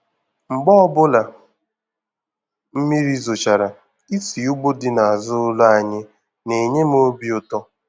Mgbe ọbụla mmiri zochara, isi ugbo dị n'azụ ụlọ anyị na-enye m obi ụtọ.